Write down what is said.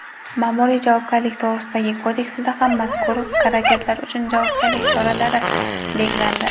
Maʼmuriy javobgarlik to‘g‘risidagi kodeksida ham mazkur harakatlar uchun javobgarlik choralari belgilandi.